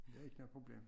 Det ikke noget problem